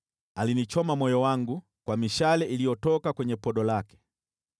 Alinichoma moyo wangu kwa mishale iliyotoka kwenye podo lake.